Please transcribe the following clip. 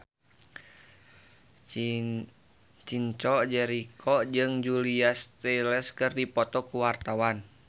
Chico Jericho jeung Julia Stiles keur dipoto ku wartawan